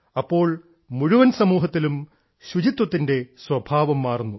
അപ്പോൾ മുഴുവൻ സമൂഹത്തിലും ശുചിത്വത്തിന്റെ സ്വഭാവം മാറുന്നു